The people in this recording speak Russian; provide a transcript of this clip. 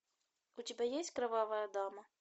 у тебя есть кровавая дама